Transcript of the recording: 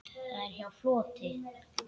Það er hjá fljóti.